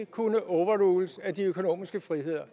kunne overrules af de økonomiske friheder